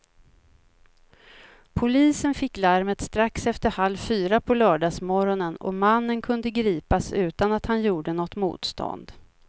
Polisen fick larmet strax efter halv fyra på lördagsmorgonen och mannen kunde gripas utan att han gjorde något motstånd.